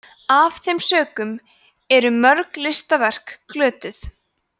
af þeim sökum eru mörg listaverk glötuð